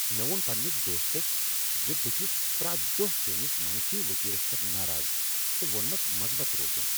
مےٚ ووٚن پنٛنس دوستس ز بہٕ چھس پریتھ دۄہ چٲنس منفِی وتیرس پیٹھ ناراض تہٕ ووٚنمس مُثبت روزُن۔